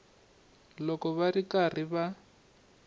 loko va ri karhi va